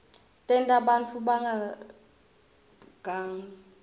tenta bantfu bangagangi